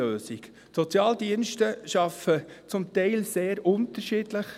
Die Sozialdienste arbeiten zum Teil sehr unterschiedlich.